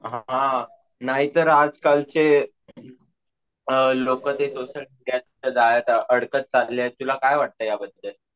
अम नाहीतर आज कालचे अम लोकं ते सोशल मीडिया च्या जाळ्यात अडकत चालले आहेत तुला काय वाटत याबद्दल?